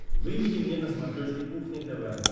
выведи мне на смотрешке кухня тв